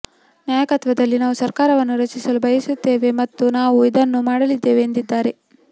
ನಾಯಕತ್ವದಲ್ಲಿ ನಾವು ಸರ್ಕಾರವನ್ನು ರಚಿಸಲು ಬಯಸುತ್ತೇವೆ ಮತ್ತು ನಾವು ಇದನ್ನು ಮಾಡಲಿದ್ದೇವೆ ಎಂದಿದ್ದಾರೆ